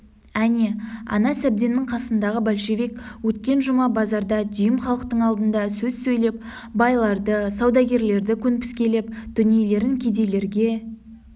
әне ана сәбденнің қасындағы большевик өткен жұма базарда дүйім халықтың алдында сөз сөйлеп байларды саудагерлерді көнпіскелеп дүниелерін кедейлерге